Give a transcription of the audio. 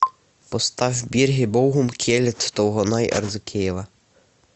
поставь бирге болгум келет толгонай арзыкеева